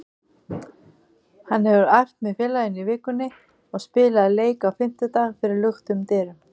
Hann hefur æft með félaginu í vikunni og spilaði leik á fimmtudag fyrir luktum dyrum.